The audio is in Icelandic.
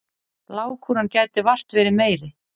Lágkúran gæti vart verið meiri.